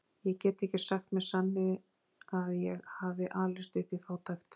Ég get ekki sagt með sanni að ég hafi alist upp í fátækt.